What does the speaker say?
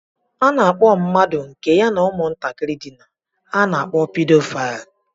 A na-akpọ mmadụ nke ya na ụmụntakịrị dina, a na-akpọ Pedophile